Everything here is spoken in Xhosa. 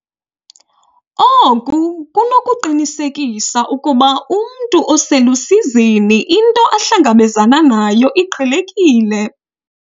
Oku kunokuqinisekisa ukuba umntu oselusizini into ahlangabezana nayo iqhelekile.